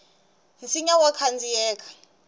nsinya wa khandziyeka